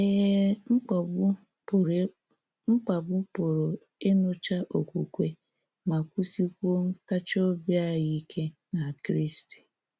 Ee, mkpagbụ́ pụrụ mkpagbụ́ pụrụ ịnụcha okwukwe, ma wụsịkwuo ntachi obi anyị ike na Kristi.